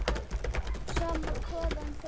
Sama hvaðan þeir koma.